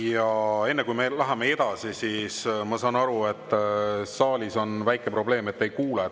Ja enne kui me läheme edasi, ma saan aru, et saalis on väike probleem, et ei kuule.